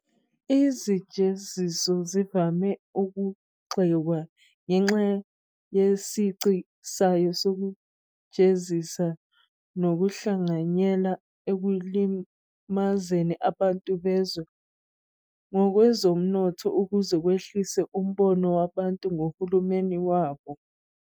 Izijeziso zivame ukugxekwa ngenxa yesici sayo sokujezisa ngokuhlanganyela ekulimazeni abantu bezwe ngokwezomnotho ukuze kwehliswe umbono wabantu ngohulumeni wabo.